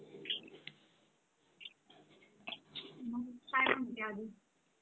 मग काय म्हणते आजून